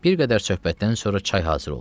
Bir qədər söhbətdən sonra çay hazır oldu.